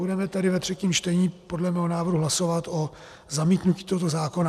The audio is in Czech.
Budeme tedy ve třetím čtení podle mého návrhu hlasovat o zamítnutí tohoto zákona.